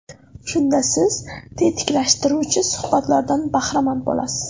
Shunda siz tetiklashtiruvchi suhbatlardan bahramand bo‘lasiz.